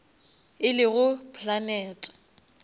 e lego planete